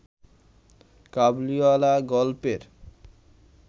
কাবুলিওয়ালা গল্পের